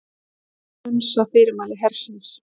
Hunsa fyrirmæli hersins